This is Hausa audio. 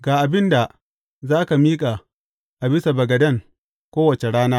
Ga abin da za ka miƙa a bisa bagaden kowace rana.